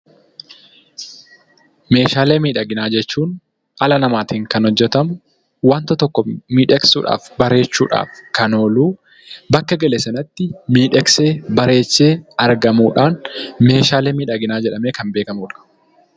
Meeshaalee miidhaginaa jechuun dhala namaatiin kan hojjetaman wanta tokko miidhagsuudhaaf, bareechuudhaaf kan ooluu bakka gale sanatti miidhagsee, bareechee kan argamu meeshaalee miidhaginaa jedhamee kan beekamuudha.